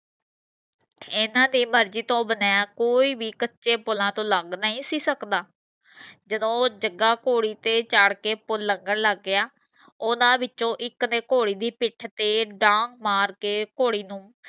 ਇਨ੍ਹਾਂ ਦੀ ਮਰਜੀ ਤੋਂ ਬਿਨਾ ਕੋਈ ਭੀ ਕਚੇ ਪੁਲਾਂ ਤੋਂ ਲੰਘ ਨਹੀਂ ਸੀ ਸਕਦਾ ਜਦੋ ਉਹ ਜਗਾ ਘੋੜੀ ਤੇ ਚੜ ਕੇ ਪੁਲ ਲੰਘਣ ਲਗ ਗਿਆ ਉਹਨਾਂ ਵਿੱਚੋ ਇਕ ਨੇ ਘੋੜੀ ਦੀ ਪਿੱਠ ਤੇ ਢਾਂਗ ਮਾਰ ਕੇ ਘੋੜੀ ਨੂੰ